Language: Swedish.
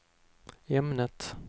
ämnet